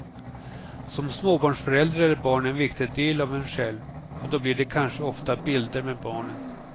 Som småbarnsförälder är barn en viktig del av en själv och då blir det kanske ofta bilder med barnen.